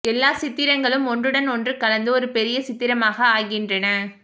எல்லா சித்திரங்களும் ஒன்றுடன் ஒன்று கலந்து ஒரு பெரிய சித்திரமாக ஆகின்றன